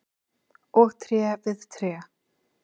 og tré við tré.